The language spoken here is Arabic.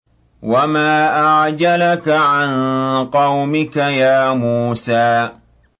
۞ وَمَا أَعْجَلَكَ عَن قَوْمِكَ يَا مُوسَىٰ